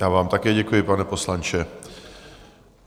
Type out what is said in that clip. Já vám také děkuji, pane poslanče.